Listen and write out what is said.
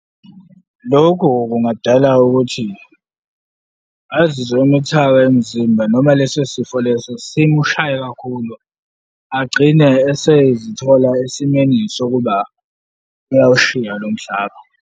Lokho kungadala ukuthi azizwe emuthaka emzimba noma leso sifo leso simu shaye kakhulu, agcine esezithola esimeni sokuba uyawushiya lomhlaba.